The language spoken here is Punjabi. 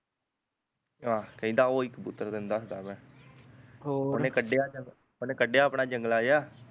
ਆਹ ਕਹਿੰਦਾ ਓਹ ਈ ਕਬੂਤਰ ਤੇਨੂੰ ਦੱਸਦਾ ਮੈਂ ਉਹਨੇ ਕੱਢਿਆ ਚੱਲ ਉਹਨੇ ਕੱਢਿਆ ਆਪਣਾ ਜੰਗਲਾ ਜਿਹਾ